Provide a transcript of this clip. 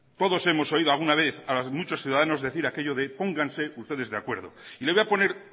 todos hemos oído alguna vez a los muchos ciudadanos decir aquello de pónganse ustedes de acuerdo y le voy a poner